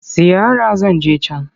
Ziyara zan je can.